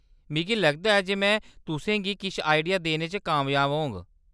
मिगी लगदा ऐ जे में तुसें गी किश आडिया देने च कामयाब होङ।